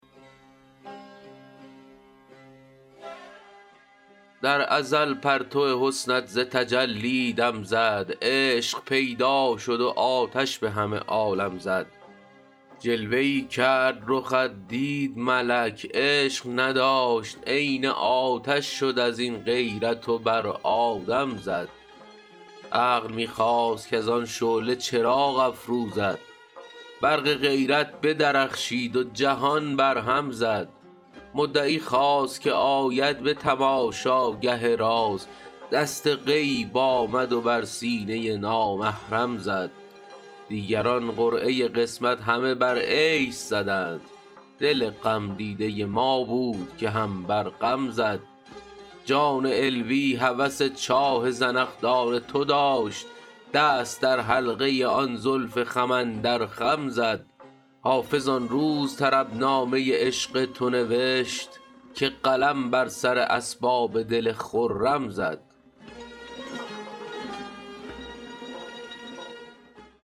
در ازل پرتو حسنت ز تجلی دم زد عشق پیدا شد و آتش به همه عالم زد جلوه ای کرد رخت دید ملک عشق نداشت عین آتش شد از این غیرت و بر آدم زد عقل می خواست کز آن شعله چراغ افروزد برق غیرت بدرخشید و جهان برهم زد مدعی خواست که آید به تماشاگه راز دست غیب آمد و بر سینه نامحرم زد دیگران قرعه قسمت همه بر عیش زدند دل غمدیده ما بود که هم بر غم زد جان علوی هوس چاه زنخدان تو داشت دست در حلقه آن زلف خم اندر خم زد حافظ آن روز طربنامه عشق تو نوشت که قلم بر سر اسباب دل خرم زد